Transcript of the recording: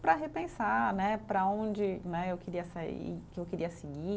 para repensar né, para onde, né eu queria sair, que eu queria seguir.